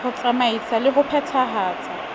ho tsamaisa le ho phethahatsa